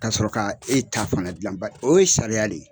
Ka'a sɔrɔ ka e ta fana dilan bari o ye sariya de ye.